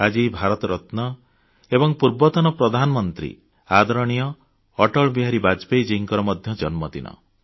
ଆଜି ଭାରତରତ୍ନ ପୂର୍ବତନ ପ୍ରଧାନମନ୍ତ୍ରୀ ଆଦରଣୀୟ ଅଟଳ ବିହାରୀ ବାଜପେୟୀଜୀଙ୍କର ମଧ୍ୟ ଜନ୍ମ ଦିନ